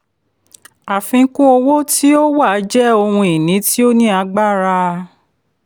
àfikún owó ti o wà jẹ́ ohun ìní tí ò ní agbára.